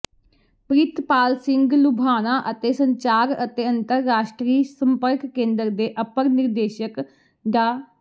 ਪ੍ਰਿਤਪਾਲ ਸਿੰਘ ਲੁਬਾਣਾ ਅਤੇ ਸੰਚਾਰ ਅਤੇ ਅੰਤਰਰਾਸ਼ਟਰੀ ਸੰਪਰਕ ਕੇਂਦਰ ਦੇ ਅਪਰ ਨਿਰਦੇਸ਼ਕ ਡਾ